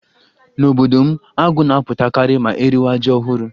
N'obodo m, agụ́ na-apụtakarị ma eriwa ji ọhụrụ.